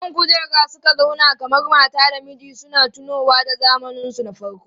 Kan kujera suka zauna kamar mata da miji suna tunowa da zamaninsu na farko.